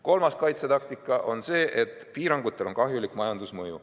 Kolmas kaitsetaktika on see, et piirangutel on kahjulik majandusmõju.